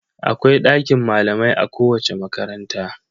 Akwai ɗakin malamai a kowace makaranta..